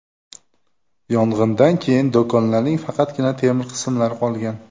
Yong‘indan keyin do‘konlarning faqatgina temir qismlari qolgan.